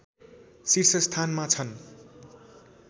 शीर्षस्थानमा छन्